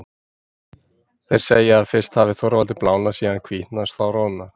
Þeir segja að fyrst hafi Þorvaldur blánað, síðan hvítnað, þá roðnað.